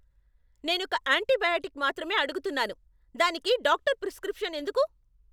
నేనొక అంటీబయాటిక్ మాత్రమే అడుగుతున్నాను.దానికి డాక్టరు ప్రిస్క్రిప్షన్ ఎందుకు?